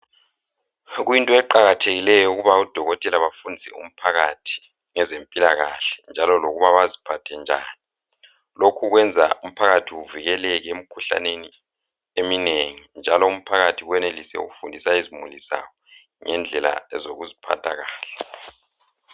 Kuyinto eqakathekileyo ukuba odokotela bafundise umphakathi ngezempilakahle njalo lokuba baziphathe njani. Lokhu kwenza umphakathi uvikeleke emkhuhlaneni eminengi njalo umphakathi wenelise ukufundisa izimuli zawo ngendlela ezokuziphatha kahle.